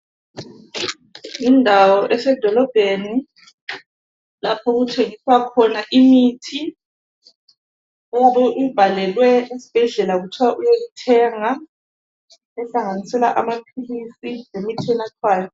Indawo esedolobheni lapho okuthengiswa khona imithi oyabe uyibhalelwe esibhedlela okuthwa uyethenga ehlanganisela amaphilisi lemithi enathwayo.